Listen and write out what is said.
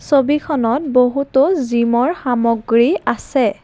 ছবিখনত বহুতো জিমৰ সামগ্ৰী আছে।